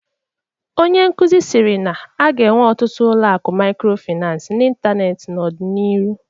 Onye nkuzi siri na a ga-enwe ọtụtụ ụlọ akụ microfinance n'ịntanetị n'ọdịnihu